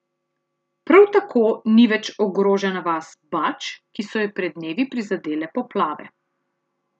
Prav tako ni več ogrožena vas Bač, ki so jo pred dnevi prizadele poplave.